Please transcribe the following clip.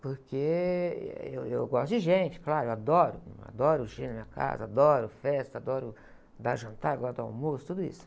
porque eh, eu, eu gosto de gente, claro, adoro, adoro gente na minha casa, adoro festa, adoro dar jantar, adoro dar almoço, tudo isso.